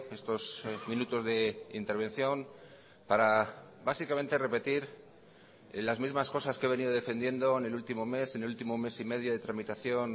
estos minutos de intervención para básicamente repetir las mismas cosas que he venido defendiendo en el último mes en el último mes y medio de tramitación